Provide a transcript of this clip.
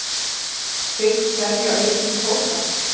Hyggst selja aukinn kvóta